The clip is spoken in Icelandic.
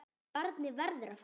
Barnið verður að fara.